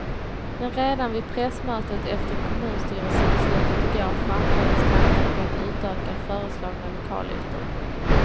Men redan vid pressmötet efter kommunstyrelsebeslutet igår framfördes tankar på att utöka föreslagna lokalytor.